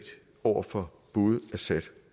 over for både assad